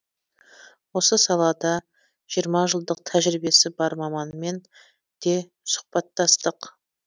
осы салада жиырма жылдық тәжірибесі бар маманмен де сұхбаттастық